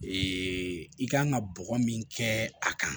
i kan ka bɔgɔ min kɛ a kan